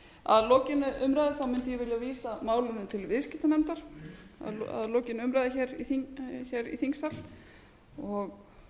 að lokinni umræðu þá mundi ég vilja vísa málinu til viðskiptanefndar að lokinni umræðu hér í þingsal og